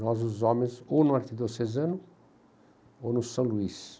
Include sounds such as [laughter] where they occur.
Nós, os homens, ou no [unintelligible] Cezano ou no São Luís.